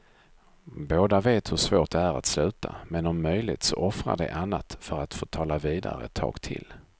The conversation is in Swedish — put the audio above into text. Båda vet hur svårt det är att sluta, men om möjligt så offrar de annat för att få tala vidare ett tag till.